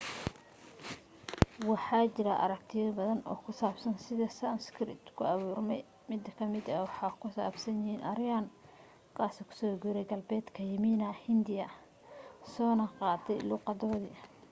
waxa jira aragtiyo baadan oo ku saabsan sida sanskrit ku abuurmay mid ka mida waxa ku saabsan yihiin aryan ka soo guuray galbeedka yimina hindiya soona qaatay luuqadoodii